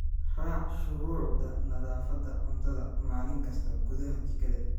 Raac shuruucda nadaafadda cuntada maalin kasta gudaha jikada.